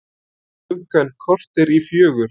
Klukkan korter í fjögur